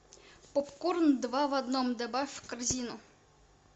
попкорн два в одном добавь в корзину